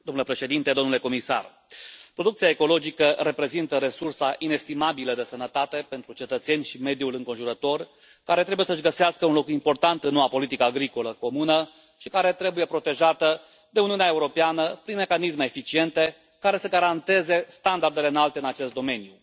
Domnule președinte, domnule comisar, producția ecologică reprezintă resursa inestimabilă de sănătate pentru cetățeni și mediul înconjurător, care trebuie să și găsească un loc important în noua Politică Agricolă Comună și care trebuie protejată de Uniunea Europeană prin mecanisme eficiente, care să garanteze standardele înalte în acest domeniu.